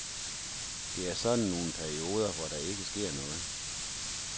Der er sådan nogle perioder, hvor der ikke sker noget.